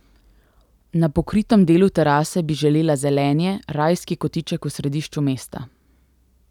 Na pokritem delu terase bi želela zelenje, rajski kotiček v središču mesta.